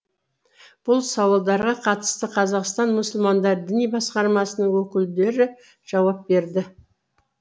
бұл сауалдарға қатысты қазақстан мұсылмандар діни басқармасының өкілдері жауап берді